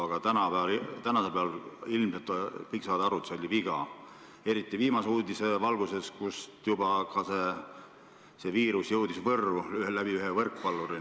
Aga tänasel päeval saavad ilmselt kõik aru, et selle mängu korraldamine oli viga, eriti viimase uudise valguses, et juba on see viirus ühe võrkpalluri kaudu ka Võrru jõudnud.